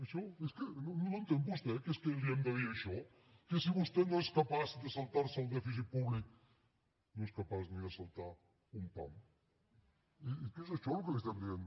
això no ho entén vostè que li hem de dir això que si vostè no és capaç de saltar se el dèficit públic no és capaç ni de saltar un pam i és que és això el que li estem dient